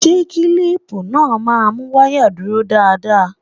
Ṣé kílípù náà má mú wáyà dúró dáadáa?